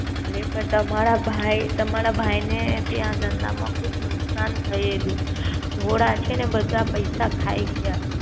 અરે પણ તમારા ભાઈ તમારા ભાઈ ને ત્યાં ધંધા માં ખુબ નુકસાન થયેલું ધોળા છેને બધા પૈસા ખાઈ ગયા.